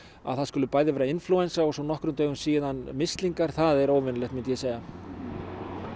að það skuli vera inflúensa og nokkrum dögum síðar mislingar það er óvenjulegt